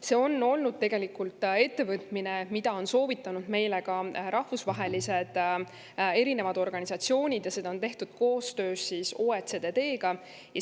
See on olnud tegelikult ettevõtmine, mida on soovitanud meile ka rahvusvahelised organisatsioonid, ja seda on tehtud koostöös OECD‑ga.